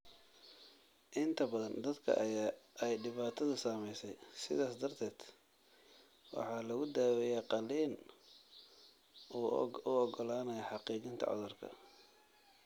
Inta badan dadka ay dhibaatadu saameysey, sidaas darteed,, waxaa lagu daaweeyaa qaliin u oggolaanaya xaqiijinta cudurka.